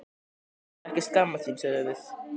Að þú skulir ekki skammast þín, sögðum við.